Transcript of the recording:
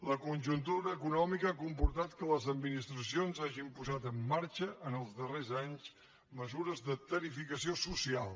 la conjuntura econòmica ha comportat que les administracions hagin posat en marxa en els darrers anys mesures de tarifació so cial